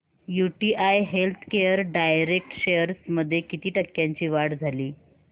UTI healthcare direct shares मध्ये किती टक्क्यांची वाढ झाली